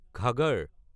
Ghaggar